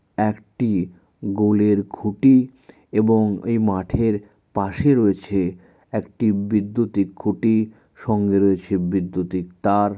একটি গোলের খুঁটি এবং এই মাঠের পাশে রয়েছে | একটি বিদ্যুতি খুঁটি সঙ্গে রয়েছে বিদ্যুতি তার।